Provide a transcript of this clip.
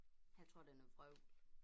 Jeg tror det noget vrøvl